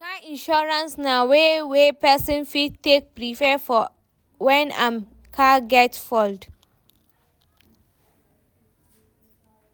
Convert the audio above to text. Car insurance na way wey person fit take preapre for when im car get fault